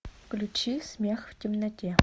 включи смех в темноте